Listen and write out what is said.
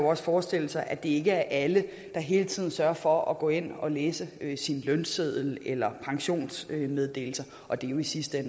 også forestille sig at det ikke er alle der hele tiden sørger for at gå ind og læse sin lønseddel eller pensionsmeddelelser og det er jo i sidste